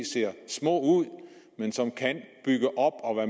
ser små ud men som kan